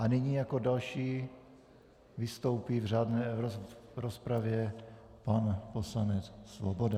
A nyní jako další vystoupí v řádné rozpravě pan poslanec Svoboda.